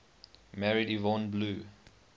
married yvonne blue